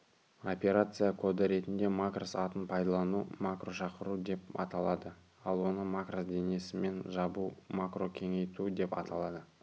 операция коды ретінде макрос атын пайдалану макрошақыру деп аталады ал оны макрос денесімен жабу макрокеңейту деп аталады